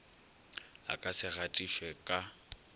e ka se gatišwe ka